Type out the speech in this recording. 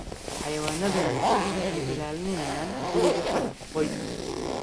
Xayawaanadani waxay ilaalinayaan guriga iyo qoyskaba.